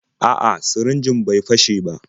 A'a, sirinjin bai fashe ba.